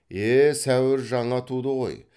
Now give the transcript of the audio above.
е сәуір жаңа туды ғой